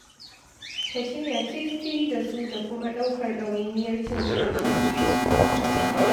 Ka shirya tiri-tiri da su da kuma ɗaukar ɗawainiyar cinsu da shansu